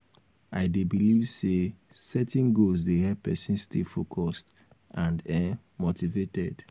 i dey believe say setting goals dey help pesin stay um focused and um motivated.